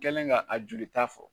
Kɛlen ka a jolita fɔ